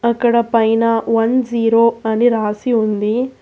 ఇక్కడ పైన one zero అని రాసి ఉంది.